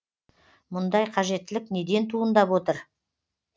мұндай қажеттілік неден туындап отыр